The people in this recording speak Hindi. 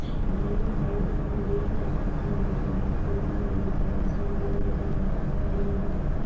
ब्लैक एंड व्हाइट दिखाई दे रहा है। खिड़कियां लगी हुई दिखाई दे रही हैं। ऊपर आसमान भी ब्लैक एंड व्हाइट दिखाई दे रहा है। इस --